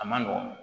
A man nɔgɔ